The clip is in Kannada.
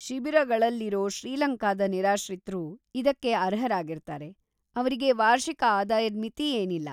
ಶಿಬಿರಗಳಲ್ಲಿರೋ ಶ್ರೀಲಂಕಾದ ನಿರಾಶ್ರಿತ್ರೂ ಇದಕ್ಕೆ ಅರ್ಹರಾಗಿರ್ತಾರೆ, ಅವ್ರಿಗೆ ವಾರ್ಷಿಕ ಆದಾಯದ್‌ ಮಿತಿ ಏನಿಲ್ಲ.